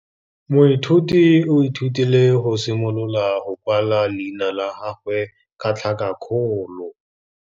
Moithuti o ithutile go simolola go kwala leina la gagwe ka tlhakakgolo.